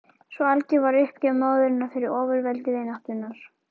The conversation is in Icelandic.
Svo algjör var uppgjöf móðurinnar fyrir ofurveldi vináttunnar.